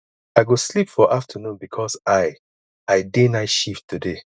i go sleep for afternoon because i i dey night shift today